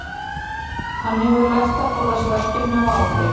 Hann hefur lært að forðast verkefni og ábyrgð.